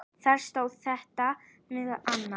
Þar stóð þetta meðal annars